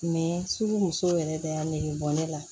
sugu musow yɛrɛ de y'a negebɔ ne la